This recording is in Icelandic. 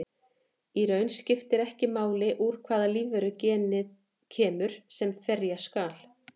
Í raun skiptir ekki máli úr hvaða lífveru genið kemur sem ferja skal.